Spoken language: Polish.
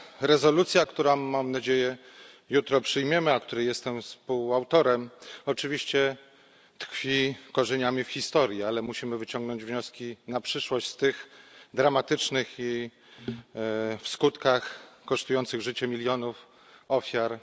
Rezolucja, którą, mam nadzieję, jutro przyjmiemy, a której jestem współautorem, oczywiście tkwi korzeniami w historii, ale musimy wyciągnąć wnioski na przyszłość z tych dramatycznych w skutkach wydarzeń kosztujących życie milionów ofiar.